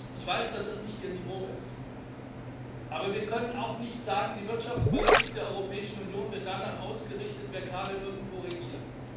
Ich weiß, dass das nicht Ihr Niveau ist, aber wir können auch nicht sagen Die Wirtschaftspolitik der Europäischen Union wird danach ausgerichtet, wer gerade irgendwo regiert.